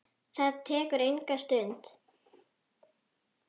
Það tekur enga stund.